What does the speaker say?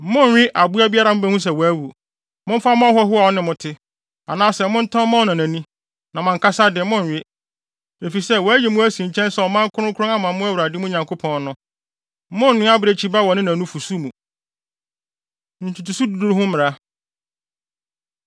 Monnwe aboa biara a mubehu sɛ wawu. Momfa mma ɔhɔho a ɔne mo te, anaasɛ montɔn ma ɔnanani. Na mo ankasa de, monnwe, efisɛ wɔayi mo asi nkyɛn sɛ ɔman kronkron ama Awurade, mo Nyankopɔn no. Monnnoa abirekyi ba wɔ ne na nufusu mu. Ntotoso Du Du Ho Mmara